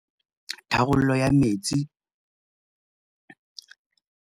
Tharollo ya metsi.